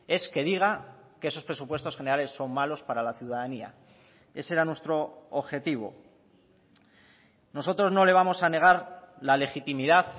es que diga que esos presupuestos generales son malos para la ciudadanía ese era nuestro objetivo nosotros no le vamos a negar la legitimidad